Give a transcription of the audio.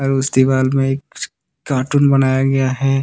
उस दीवाल में एक कार्टून बनाया गया है।